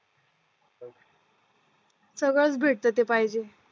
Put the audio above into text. सगळंच भेटतं जे पाहिजे